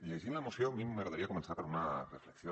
llegint la moció a mi m’agra·daria començar per una reflexió